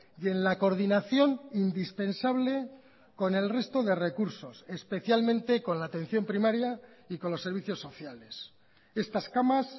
y en la coordinación indispensable con el resto de recursos especialmente con la atención primaria y con los servicios sociales estas camas